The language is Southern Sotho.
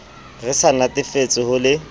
re sa natefetswe ho le